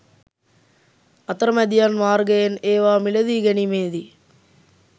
අතරමැදියන් මාර්ගයෙන් ඒවා මිලදී ගැනීමේදී